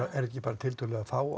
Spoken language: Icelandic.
þetta ekki bara tiltölulega fá